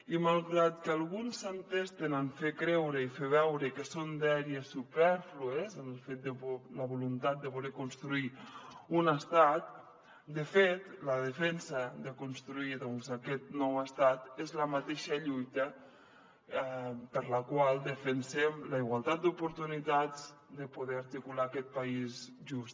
i malgrat que alguns s’entesten a fer creure i fer veure que és una dèria supèrflua la voluntat de voler construir un estat de fet la defensa de construir aquest nou estat és la mateixa lluita per la qual defensem la igualtat d’oportunitats de poder articular aquest país just